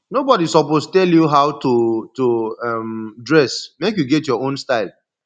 nobodi suppose tell you how to to um dress make you get your own style